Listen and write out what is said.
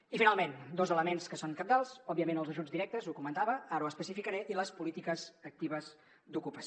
i finalment dos elements que són cabdals òbviament els ajuts directes ho comentava ara ho especificaré i les polítiques actives d’ocupació